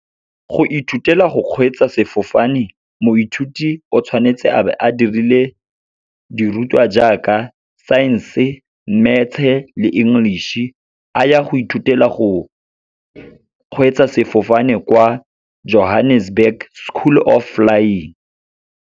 Go ithutela go kgweetsa sefofane, moithuti o tshwanetse a be a dirile dirutwa jaaka Science-e, Maths-e le English-e, a ya go ithutela go kgweetsa sefofane kwa Johannesburg School of Flying.